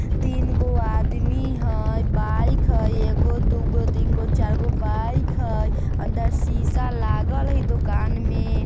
तीन गो आदमी हई बाइक हई एगो दूगो तीनगो चारगो बाइक हई | अंदर शीशा लागल हई दुकान में |